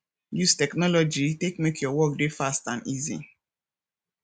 use technology take make your work dey fast and easy